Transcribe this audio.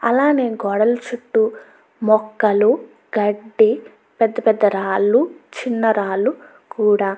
అలానే గోడల చుట్టూ మొక్కలు గడ్డి పెద్ద పెద్ద రాళ్లు చిన్న రాళ్లు కూడా --